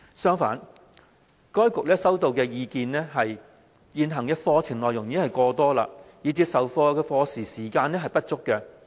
相反，該局收到的意見是現行課程內容已過多，以致授課時間不足。